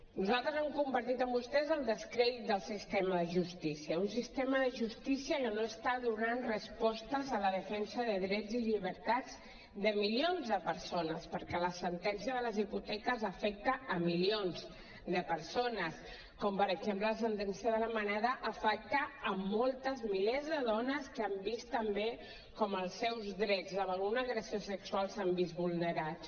nosaltres hem compartit amb vostès el descrèdit del sistema de justícia un sistema de justícia que no està donant respostes a la defensa de drets i llibertats de milions de persones perquè la sentència de les hipoteques afecta a milions de persones com per exemple la sentència de la manada afecta a molts milers de dones que han vist també com els seus drets davant d’una agressió sexual s’han vist vulnerats